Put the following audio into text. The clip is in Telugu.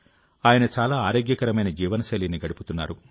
ఆయన చాలా ఆరోగ్యకరమైన జీవనశైలిని గడుపుతున్నారు